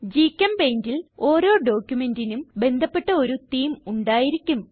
GchemPaintൽ ഓരോ ഡോക്യുമെന്റിനും ബന്ധപ്പെട്ട ഒരു തേമെ ഉണ്ടായിരിക്കും